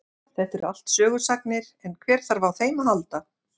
Þetta eru allt sögusagnir en hver þarf á þeim að halda.